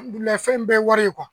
fɛn in bɛɛ ye wari ye